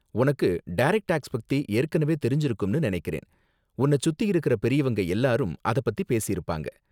உனக்கு direct tax பத்தி ஏற்கனவே தெரிஞ்சிருக்கும்னு நனைக்கிறேன், உன்ன சுத்தி இருக்குற பெரியவங்க எல்லாரும் அத பத்தி பேசிருப்பாங்க.